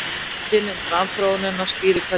Vísindin um framþróunina skýra hvað lífið er